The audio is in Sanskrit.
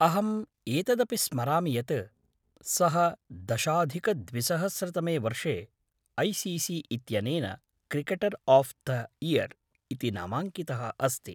अहम् एतदपि स्मरामि यत् सः दशाधिकद्विसहस्रतमे वर्षे ऐसीसी इत्यनेन ’क्रिकेटर् आफ़् थे इयर्’ इति नामाङ्कितः अस्ति।